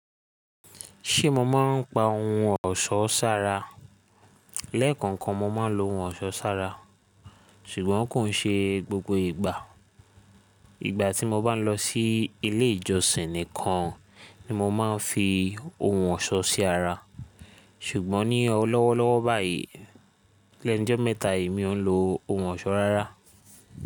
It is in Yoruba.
Ṣe mo ma ń pa ohun ọ̀ṣọ́ ṣára? Lẹ́ẹ̀kan kan mo ma ń lo ohun ọ̀ṣọ́ ṣára ṣùgbọ́n kò ń ṣe gbogbo ìgbà. Ìgbà tí mo bá ń lọ sí ilé ìjọsìn nìkan ni mo máa ń fi ohun ọ̀ṣọ́ sí ara, ṣùgbọ́n ní ọlọ́wọ́lọ́wọ́ báyìí lẹ́nu mẹ́ta yìí mi o ń lo ohun ọ̀ṣọ́ rárá.